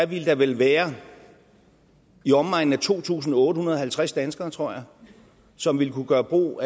ville der vel være i omegnen af to tusind otte hundrede og halvtreds danskere tror jeg som ville kunne gøre brug